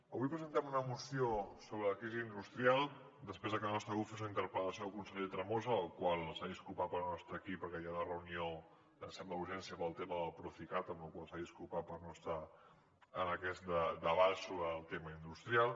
avui presentem una moció sobre la crisi industrial després de que el nostre grup fes una interpel·lació al conseller tremosa el qual s’ha disculpat per no estar aquí perquè hi ha una reunió que sembla d’urgència pel tema del procicat amb la qual cosa s’ha disculpat per no estar en aquest debat sobre el tema industrial